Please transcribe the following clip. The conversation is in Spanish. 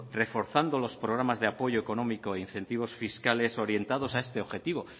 reforzando los programas de apoyo económico e incentivos fiscales orientados a este objetivo